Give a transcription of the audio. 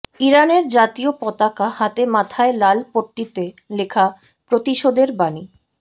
ইরানের জাতীয় পতাকা হাতে মাথায় লাল পট্টিতে লেখা প্রতিশোধের বাণী